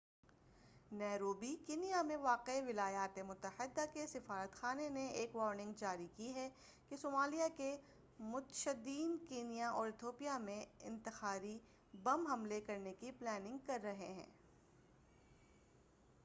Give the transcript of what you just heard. Nairobi Kenya میں واقع ولایاتِ متحدہ کے سفارت خانہ نے ایک وارننگ جاری کی ہے کہ صمالیہ کے متشدّدین کینیا اور اتھیوپیا میں انتحاری بم حملے کرنے کی پلاننگ کر رہے ہیں